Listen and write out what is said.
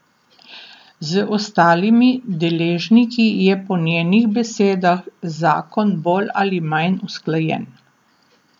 Z ostalimi deležniki je po njenih besedah zakon bolj ali manj usklajen.